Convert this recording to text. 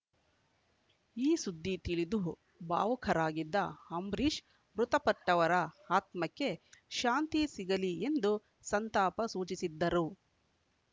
ಈ ಸುದ್ದಿ ತಿಳಿದು ಭಾವುಕರಾಗಿದ್ದ ಅಂಬರೀಶ್‌ ಮೃತಪಟ್ಟವರ ಆತ್ಮಕ್ಕೆ ಶಾಂತಿ ಸಿಗಲಿ ಎಂದು ಸಂತಾಪ ಸೂಚಿಸಿದ್ದರು